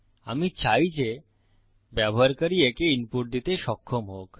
আমি চাই যে ব্যবহারকারী একে ইনপুট দিতে সক্ষম হোক